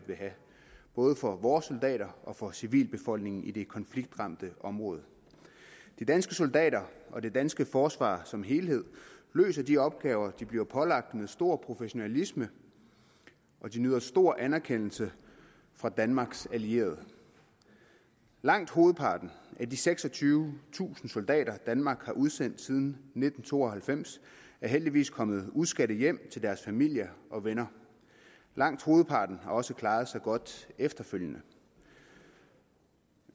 vil have både for vores soldater og for civilbefolkningen i det konfliktramte område de danske soldater og det danske forsvar som helhed løser de opgaver de bliver pålagt med stor professionalisme og de nyder stor anerkendelse fra danmarks allierede langt hovedparten af de seksogtyvetusind soldater danmark har udsendt siden nitten to og halvfems er heldigvis kommer uskadte hjem til deres familier og venner langt hovedparten har også klaret sig godt efterfølgende